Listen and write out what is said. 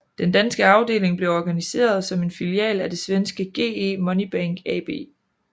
Den danske afdeling blev organiseret som en filial af det svenske GE Money Bank AB